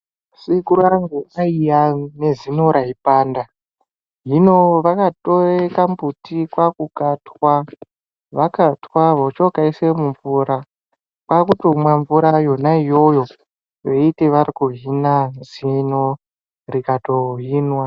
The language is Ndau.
Sekuru angu aiva nezino raipanda hino vakatore kambuti kakukatwa vakatwa vochokaisa mumvura kwakutomwa mvura yona iyoyo veiti varikuhina zino rikatohinwa.